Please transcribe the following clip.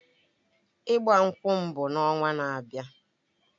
Ịgbankwu m bụ ọnwa na-abịa.